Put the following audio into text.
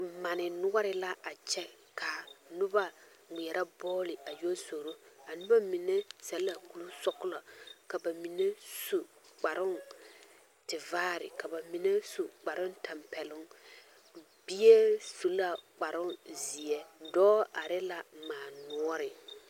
Mani noɔre la a kyɛ ka noba ŋmeɛrɛ bɔɔli a yɔ zoro a noba mine seɛ la kurisɔglɔ ka ba mine su kparoŋtivaare ka ba mine su kparoŋtampɛloŋ bie su la kparoŋzeɛ dɔɔ are la mani noɔre.